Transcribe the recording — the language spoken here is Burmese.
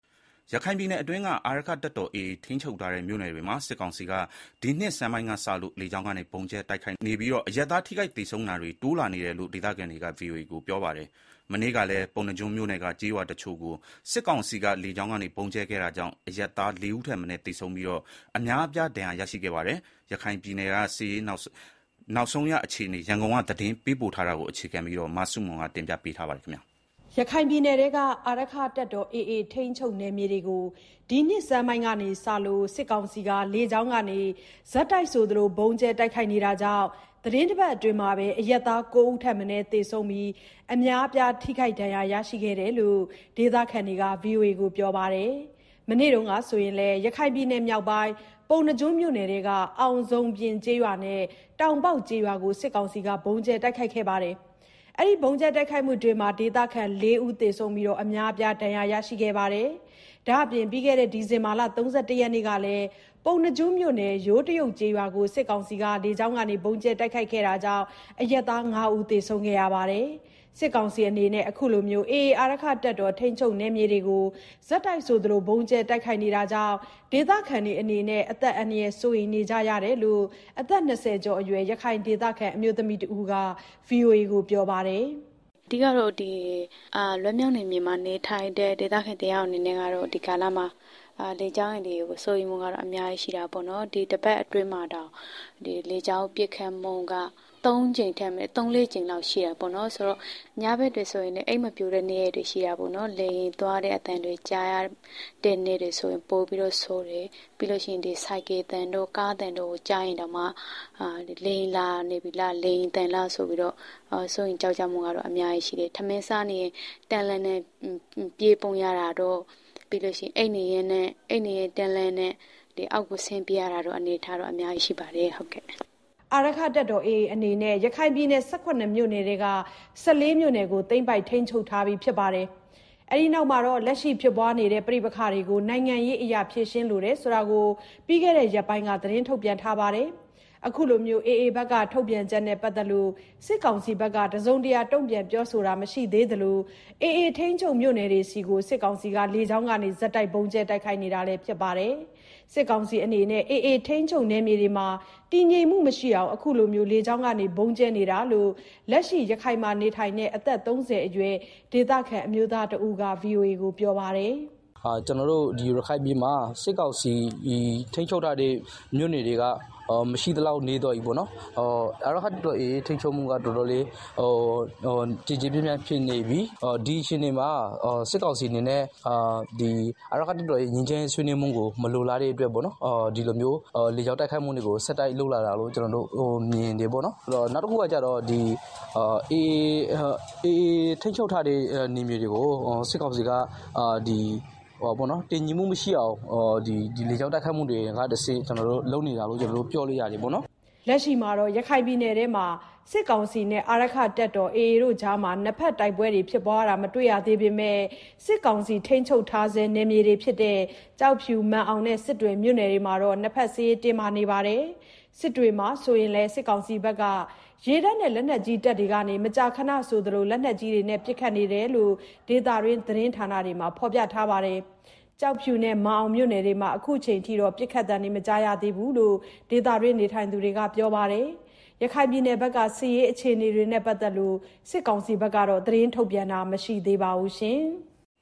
ရခိုင်ပြည်နယ်အတွင်းက အာရက္ခတပ်တော် AA ထိန်းချုပ်ထားတဲ့ မြို့နယ်တွေမှာ စစ်ကောင်စီက ဒီနှစ်ဆန်းပိုင်းကစလို့ လေကြောင်းကနေ ဆက်တိုက်ဗုံးကြဲနေလို့ အရပ်သားထိခိုက်သေဆုံးတာတွေ တိုးလာနေတယ်လို့ ဒေသခံတွေက ဗွီအိုအေကိုပြောပါတယ်။ မနေ့ကလည်း ပုဏ္ဏားကျွန်းမြို့နယ်က ကျေးရွာတချို့ကို စစ်ကောင်စီက လေကြောင်းကနေ ဗုံးကြဲခဲ့တာကြောင့် အရပ်သားလေးဦးထက် မနည်းသေဆုံးပြီး အများအပြား ဒဏ်ရရှိခဲ့ပါတယ်။ ရခိုင်ပြည်နယ်က စစ်ရေးနောက်ဆုံးအခြေအနေ ရန်ကုန်က သတင်းပေးပို့ထားပါတယ်။ ရခိုင်ပြည်နယ်အတွင်းက အာရက္ခတပ်တော် AA ထိန်းချုပ်မြို့နယ်တွေကို ဒီနှစ်ဆန်းပိုင်းကစလို့ စစ်ကောင်စီလေကြောင်းက ဆက်တိုက်ဆိုသလို ဗုံးကြဲတိုက်ခိုက်နေတာကြောင့် တပတ်အတွင်း အရပ်သားကိုးဦးထက်မနည်း သေဆုံးပြီး အများအပြား ဒဏ်ရာရရှိခဲ့တယ်လို့ ဒေသခံတွေက ဗွီအိုအေကိုပြောပါတယ်။ မနေ့ကဆိုရင်လည်း ရခိုင်မြောက်ပိုင်း ပုဏ္ဏားကျွန်းမြို့နယ်က အောင်ဇုံပြင်ကျေးရွာနဲ့ တောင်ပေါက် ကျေးရွာကို စစ်ကောင်စီလေကြောင်းက ဗုံးကြဲခဲ့တာကြောင့် ဒေသခံလေးဦးသေဆုံးပြီး အများအပြား ဒဏ်ရာရရှိခဲ့တာပါ။ ဒါ့အပြင် ပြီးခဲ့တဲ့ ဒီဇင်ဘာလ ၃၁ ရက်နေ့ကလည်း ပုဏ္ဏားကျွန်းမြို့နယ် ယိုးတရုတ် ကျေးရွာကို စစ်ကောင်စီ လေကြောင်းက ဗုံးကြဲခဲ့တာကြောင့် အရပ်သားငါးဦးသေဆုံးခဲ့တာလည်း ဖြစ်ပါတယ်။ စစ်ကောင်စီအနေနဲ့ အခုလို AA အာရက္ခတပ်တော် ထိန်းချုပ်မြို့နယ်တွေကို ဆက်တိုက် လေကြောင်း တိုက်ခိုက်နေတာကြောင့် ဒေသခံတွေအနေနဲ့ အသက်အန္တရာယ် စိုးရိမ်နေကြရတယ်လို့ အသက် ၂၀ ကျော်အရွယ် ရခိုင်ဒေသခံ အမျိုးသမီးတဦးက ပြောပါတယ်။ “အဓိကတော့ ဒီလွတ်မြောက်နယ်မြေမှာ နေထိုင်တဲ့ ဒေသခံတယောက်အနေနဲ့ လေကြောင်းအန္တရာယ် တွေကို စိုးရိမ်မှုကတော့ အများကြီးရှိတာပေါ့နော်၊ ဒီတပတ်အတွင်းမှာတောင် လေကြောင်းပစ်ခတ်မှု က သုံးလေးကြိမ်လောက်ရှိတယ်ပေါ့နော်။ ဆိုတော့ ညဘက်တောင်အိမ်မပျော်ဘူး။ လေယာဉ်သွားတဲ့ အသံတွေကြားရတဲ့နေ့တွေဆိုရင် ပိုဆိုးတယ်။ ပြီးတော့ ဆိုင်ကယ်သံတို့၊ ကားသံတို့ ကြားရင်တောင်မှ လေယာဉ်လာနေပြီလား၊ လေယာဉ်သံလားဆိုပြီး စိုးရိမ်တာတွေအများကြီးရှိတယ်။ ထမင်းစားနေရင်းနဲ့ ပြေးပုန်းရတာတို့၊ အိပ်နေရင်း အောက်ကိုဆင်းပြေးရတာတို့ အများကြီးရှိပါတယ်။” အာရက္ခတပ်တော် AA အနေနဲ့ ရခိုင်ပြည်နယ် ၁၇ မြို့နယ်ထဲက ၁၄ မြို့နယ်ကို သိမ်းပိုက်ထိန်းချုပ်ထား ပြီးနောက်ပိုင်း လက်ရှိဖြစ်ပွားနေတဲ့ပဋိပက္ခတွေကို နိုင်ငံရေးနည်းလမ်းနဲ့ဖြေရှင်းလိုကြောင်း ပြီးခဲ့တဲ့ ရက်ပိုင်းက ထုတ်ပြန်ထားပါတယ်။ အခုလို AA ထုတ်ပြန်ချက်နဲ့ပတ်သက်ပြီး စစ်ကောင်စီဘက်ကတော့ တစုံတရာ တုံ့ပြန်ပြောဆိုထားတာမရှိသလို AA ထိန်းချုပ်မြို့နယ်တွေကို လေကြောင်းကနေ ဆက်တိုက်ဗုံးကြဲနေတာလည်းဖြစ်ပါတယ်။ စစ်ကောင်စီအနေနဲ့ AA ထိန်းချုပ်မြို့နယ်တွေမှာ တည်ငြိမ်မှုမရှိအောင် အခုလို လေကြောင်းဗုံးကြဲ နေတယ်လို့လည်း လက်ရှိရခိုင်မှာ နေထိုင်တဲ့အသက် ၃၀ အရွယ် ဒေသခံ အမျိုးသား တဦးကပြောပါတယ်။ “ရခိုင်ပြည်နယ်မှာ စစ်ကောင်စီထိန်းချုပ်ထားတဲ့မြို့တွေက မရှိသလောက် နည်းသွားပြီပေါ့နော်။ အာရက္ခတပ်တော်AA ရဲ့ထိန်းချုပ်မှုက တော်တော်လေး ကျယ်ကျယ်ပြန့်ပြန့်ဖြစ်နေပြီ။ ဒီအချိန်မှာ စစ်ကောင်စီအနေနဲ့ အာရက္ခတပ်တော်ရဲ့ ငြိမ်းချမ်းရေးဆွေးနွေးမှုကို မလိုလားတဲ့အတွက် ဒီလိုမျိုး လေ ကြောင်းဗုံးကြဲတာတွေကို ဆက်တိုက်လုပ်လာတာလို့ မြင်တယ်။ နောက်တခုကကျတော့ ဒီ AA ထိန်း ချုပ်ထားတဲ့ နယ်မြေတွေကို တည်ငြိမ်မှုမရှိအောင် လေကြောင်းတိုက်ခိုက်မှုတွေလုပ်နေတာလို့ ပြောလို့ရတယ်။” လက်ရှိမှာတော့ ရခိုင်ပြည်နယ်အတွင်းမှာ စစ်ကောင်စီနဲ့ အာရက္ခတပ်တော် AA ကြား နှစ်ဘက် တိုက်ပွဲဖြစ်ပွားတာ မတွေ့ရသေးပေမယ့် စစ်ကောင်စီထိန်းချုပ်ထားဆဲဖြစ်တဲ့ ကျောက်ဖြူ၊ မာန်အောင်နဲ့ စစ်တွေမြို့နယ်တွေမှာတော့ နှစ်ဘက်စစ်ရေးတင်းမာမှုတွေရှိနေတာပါ။ စစ်တွေမြို့မှာဆိုရင်လည်း စစ်ကောင်စီရေတပ်နဲ့ လက်နက်ကြီးတပ်တွေက လက်နက်ကြီးတွေနဲ့ မကြာခဏပစ်ခတ်နေတာတွေရှိနေတယ်လို့လည်း ဒေသတွင်းသတင်းဌာနတွေမှာ ဖော်ပြထား တာတွေ့ရပါတယ်။ ကျောက်ဖြူနဲ့မာန်အောင်မြို့နယ်တွေမှာလည်း အခုအချိန်ထိ ပစ်ခတ်သံတွေ မကြားရသေးဘူးလို့ ဒေသတွင်းနေထိုင်သူတွေက ပြောပါတယ်။ ရခိုင်ပြည်နယ်ဘက်က စစ်ရေး အခြေအနေတွေနဲ့ပတ်သက်လို့ စစ်ကောင်စီဘက်က သတင်းထုတ်ပြန်တာမရှိသေးပါဘူး။